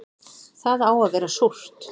Það á að vera súrt